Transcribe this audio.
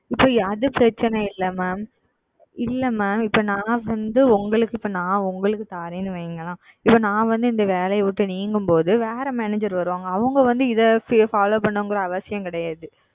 இப்பொழுது அது பிரச்சனை இல்லை Mam இல்லை Mam இப்பொழுது நான் வந்து உங்களுக்கு நான் இப்பொழுது உங்களுக்கு தருகிறேன் என்று வையுங்களேன் இப்பொழுது நான் வந்து இந்த வேலையை விட்டு நீங்கும் பொழுது வேறு Manager வருவார்கள் அவர்கள் வந்து இதை செய்ய Follow வேண்டும் என்று அவசியம் கிடையாது